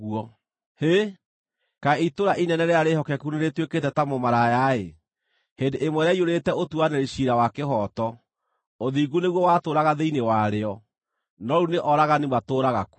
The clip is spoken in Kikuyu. Hĩ! Kaĩ itũũra inene rĩrĩa rĩĩhokeku nĩrĩtuĩkĩte ta mũmaraya-ĩ! Hĩndĩ ĩmwe rĩaiyũrĩte ũtuanĩri ciira wa kĩhooto; ũthingu nĩguo watũũraga thĩinĩ warĩo, no rĩu nĩ oragani matũũraga kuo!